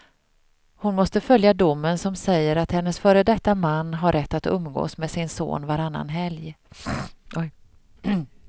Hon måste följa domen som säger att hennes före detta man har rätt att umgås med sin son varannan helg.